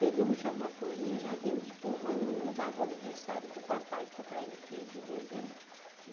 Pegamos já uma folhinha, já vimos que um ano não dava o aniversário do papai, que o papai é de quinze de dezembro.